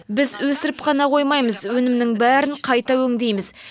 біз өсіріп қана қоймаймыз өнімнің бәрін қайта өңдейміз